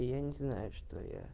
и я не знаю что я